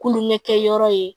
Kulonkɛkɛ yɔrɔ ye